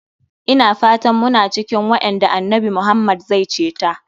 Ina fatan muna cikin waƴanda annabi Muhammad zai ceta.